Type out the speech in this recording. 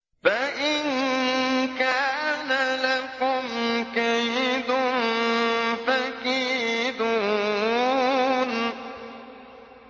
فَإِن كَانَ لَكُمْ كَيْدٌ فَكِيدُونِ